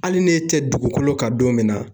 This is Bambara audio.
Hali ni e tɛ dugukolo kan don min na